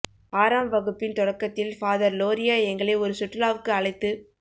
ஆறாம் வகுப்பின் தொடக்கத்தில் ஃபாதர் லோரியோ எங்களை ஒரு சுற்றுலாவுக்கு அழைத்துப்